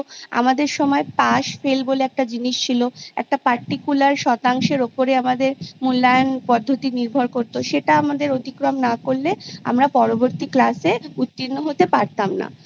আমাদের সময় Pass Fail বলে একটা জিনিস ছিল একটা Particular শতাংশের ওপরে আমাদের মূল্যায়ন পদ্ধতি নির্ভর করতো সেটা আমাদের অতিক্রম না করলে আমরা পরবর্তী Class এ উত্তীর্ণ হতে পারতাম না